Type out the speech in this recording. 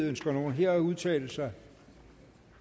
ønsker nogen her at udtale sig